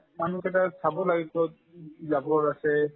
মানুহ কেইটাই চাব লাগে ক'ত উব জাবৰ আছে